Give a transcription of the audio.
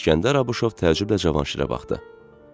İskəndər Abuşov təəccüblə Cavanşirə baxdı.